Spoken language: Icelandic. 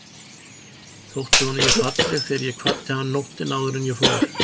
Þótti honum ég falleg þegar ég kvaddi hann nóttina áður en ég fór?